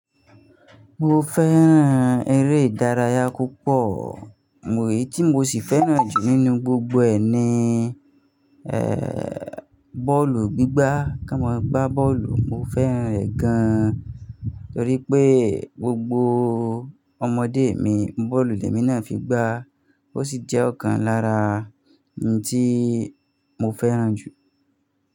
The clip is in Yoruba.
Mo fẹ́ràn eré ìdárayá púpọ̀, mo–èyí tí mo sì fẹ́ràn jù nínú gbogbo ẹ̀ ni, ẹ̀, bọ́ọ̀lù gbígbá, ká mọ gbá bọ́ọ̀lù, mo fẹ́ràn rẹ̀ gan. Torí pé gbogbo ọmọdé mi bọ́ọ̀lù lè mi náà fi gbá, ó sì jẹ́ ọ̀kan lára ohun tí mo fẹ́ràn jù.